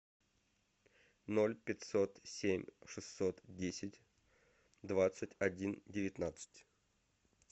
ноль пятьсот семь шестьсот десять двадцать один девятнадцать